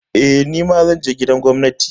Eh, nima zan je gidan gwamnati.